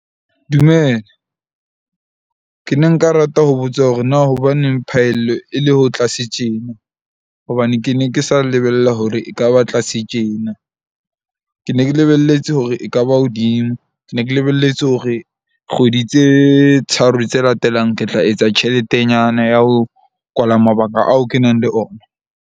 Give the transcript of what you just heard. Dumela, ke ne nka rata ho botsa hore na hobaneng phahello e le ho tlase tjena? Hobane ke ne ke sa lebella hore ekaba tlase tjena. Ke ne ke lebelletse hore e ka ba hodimo. Ke ne ke lebelletse hore kgwedi tse tharo tse latelang, ke tla etsa tjheletenyana ya ho kwala mabaka ao ke nang le ona.